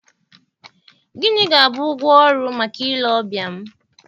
Gịnị ga-abụ ụgwọ ọrụ maka ile ọbịa m?